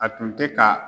A tun tɛ ka